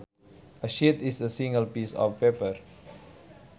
A sheet is a single piece of paper